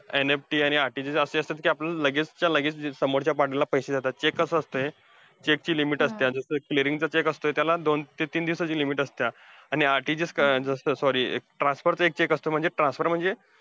NFT आणि RTG असे असतात ते लगेचं च्या लगेचं ते समोरच्या partner ला पैसे देतात, cheque कसं असतंय check ची limit असतीया. जसं चा cheque असतोया, त्याला दोन ते तीन दिवसाची limit असतेया. आणि RTGS चं असंsorry transpot चा एक check असतो. transport म्हणजे,